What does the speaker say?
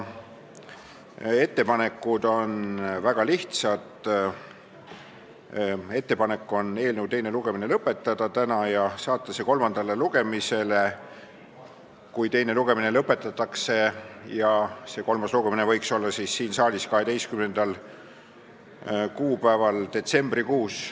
Ettepanekud on väga lihtsad: lõpetada teine lugemine täna ja saata eelnõu kolmandale lugemisele, kui teine lõpetatakse, ning kolmas lugemine võiks olla siin saalis 12. kuupäeval detsembrikuus.